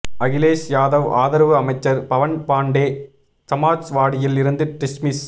அகிலேஷ் யாதவ் ஆதரவு அமைச்சர் பவன் பாண்டே சமாஜ்வாடியில் இருந்து டிஸ்மிஸ்